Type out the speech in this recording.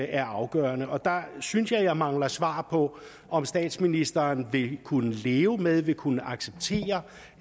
er afgørende og der synes jeg at jeg mangler svar på om statsministeren vil kunne leve med vil kunne acceptere